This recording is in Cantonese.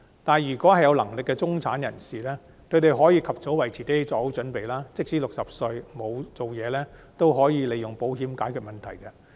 但有能力的中產人士則可及早為自己作好準備，即使60歲後沒有工作仍可利用保險解決問題。